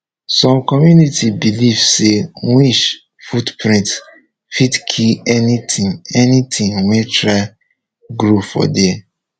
some community believe say witch footprint fit kill anything anything wey try grow for there